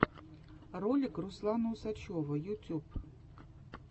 ролик руслана усачева ютюб